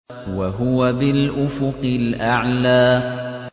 وَهُوَ بِالْأُفُقِ الْأَعْلَىٰ